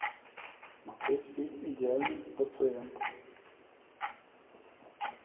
смотреть фильм идеальный пациент